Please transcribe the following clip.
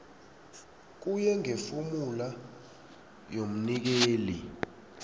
kuye ngefomula yomnikeli